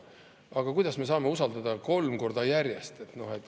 Aga kuidas me saame usaldada kolm korda järjest?